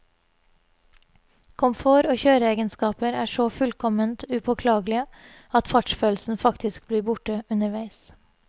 Komfort og kjøreegenskaper er så fullkomment upåklagelige at fartsfølelsen faktisk blir borte underveis.